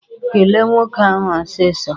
Kele nwoke ahụ ọsịsọ!